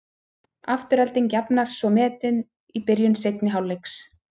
Afturelding jafnar svo metin í byrjun seinni hálfleiks.